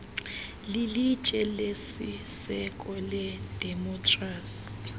lilitye lesiseko ledemokhrasi